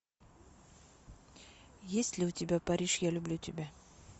есть ли у тебя париж я люблю тебя